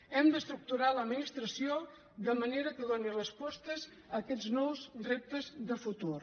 hem d’estructurar l’administració de manera que doni respostes a aquests nous reptes de futur